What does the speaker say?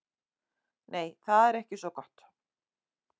Nei, það er ekki svo gott.